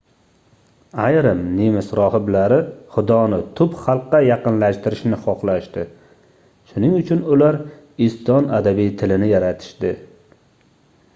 ayrim nemis rohiblari xudoni tub xalqqa yaqinlashtirishni xohlashdi shuning uchun ular eston adabiy tilini yaratishdi